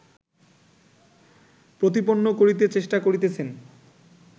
প্রতিপন্ন করিতে চেষ্টা করিতেছেন